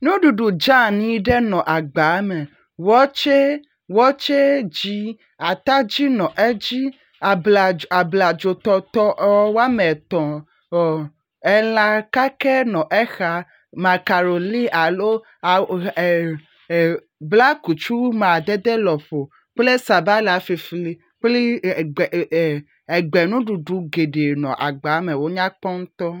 Nuɖuɖu dze anyi ɖe nɔ agba me, wɔtse dzi atadi nɔ edzi, abladzo tɔtɔe wɔmetɔ̃ elã kakɛ nɔ exa makaroni alo … blakutu madede lɔƒo kple sabala flifli kpli … egbe nuɖuɖu geɖe nɔ agbaa me wonyakpɔ ŋutɔ